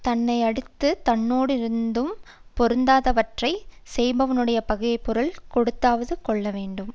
தன்னை அடுத்து தன்னோடிருந்தும் பொருந்தாதவற்றைச் செய்பவனுடைய பகையைப் பொருள் கொடுத்தாவது கொள்ள வேண்டும்